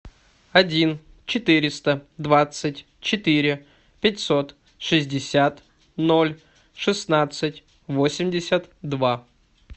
один четыреста двадцать четыре пятьсот шестьдесят ноль шестнадцать восемьдесят два